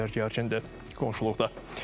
Vəziyyət bu qədər gərgindir qonşuluqda.